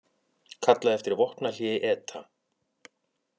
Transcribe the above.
Kalla eftir vopnahléi ETA